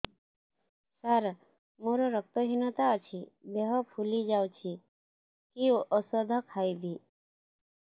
ସାର ମୋର ରକ୍ତ ହିନତା ଅଛି ଦେହ ଫୁଲି ଯାଉଛି କି ଓଷଦ ଖାଇବି